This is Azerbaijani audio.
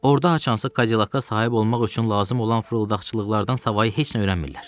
Orda haçansa Cadillac-a sahib olmaq üçün lazım olan fırıldaqçılıqlardansa heç nə öyrənmirlər.